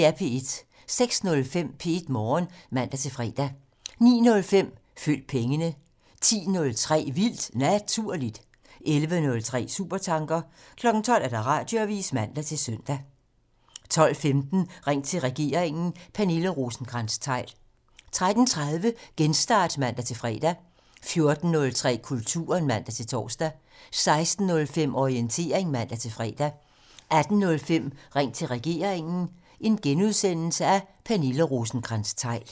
06:05: P1 Morgen (man-fre) 09:05: Følg pengene (man) 10:03: Vildt Naturligt (man) 11:03: Supertanker (man) 12:00: Radioavisen (man-søn) 12:15: Ring til regeringen: Pernille Rosenkrantz-Theil 13:30: Genstart (man-fre) 14:03: Kulturen (man-tor) 16:05: Orientering (man-fre) 18:05: Ring til regeringen: Pernille Rosenkrantz-Theil *